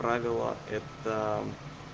правило это